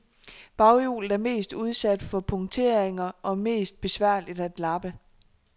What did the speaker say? Baghjulet er mest udsat for punkteringer og mest besværligt at lappe.